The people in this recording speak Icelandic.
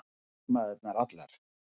Og formæðurnar allar.